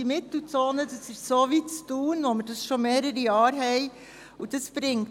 Diese Mittelzone wird so sein wie jene in Thun, die schon seit mehreren Jahren besteht.